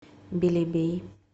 белебей